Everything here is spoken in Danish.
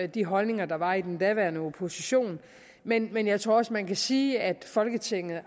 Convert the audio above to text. de holdninger der var i den daværende opposition men men jeg tror også man kan sige at folketinget